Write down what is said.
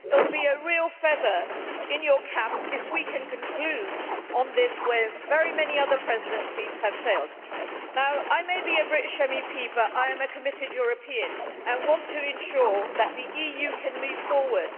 It will be a real feather in your cap, Mr Fico, if we can conclude on this where very many other Presidencies have failed. I may be a British MEP but I am a committed European and I want to ensure that the EU can move forward.